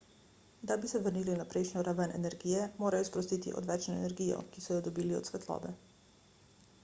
da bi se vrnili na prejšnjo raven energije morajo sprostiti odvečno energijo ki so jo dobili od svetlobe